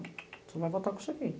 O senhor vai voltar com isso aqui.